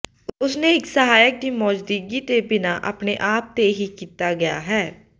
ਉਸ ਨੇ ਇੱਕ ਸਹਾਇਕ ਦੀ ਮੌਜੂਦਗੀ ਦੇ ਬਿਨਾ ਆਪਣੇ ਆਪ ਤੇ ਹੀ ਕੀਤਾ ਗਿਆ ਹੈ